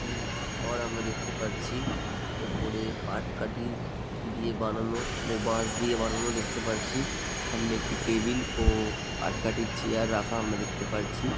ই ঘর আমরা দেখতে পারছি। ওপরে পাট কাঠি দিয়ে বানানো ও বাঁশ দিয়ে বানানো দেখতে পারছি। সামনে একটি টেবিল ও পাটকাঠির চেয়ার রাখা দেখতে পারছি ।